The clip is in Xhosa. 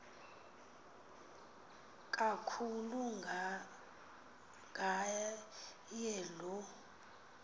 kakhulu ngaye lo